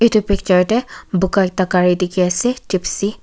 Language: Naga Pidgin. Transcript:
etu picture te boga ekta gari dekhi ase Jeepcy .